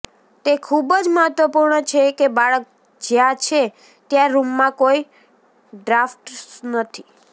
તે ખૂબ જ મહત્વપૂર્ણ છે કે બાળક જ્યાં છે ત્યાં રૂમમાં કોઈ ડ્રાફ્ટ્સ નથી